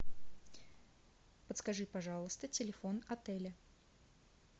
подскажи пожалуйста телефон отеля